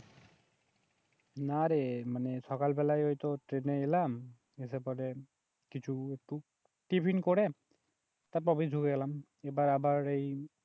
নারে মানে সকাল বেলাই ঐতো ট্রেন এ এলাম এসে পরে কিছু একটু টিফিন করে তারপর অফিস ধুকে গেলাম এবার আবার এই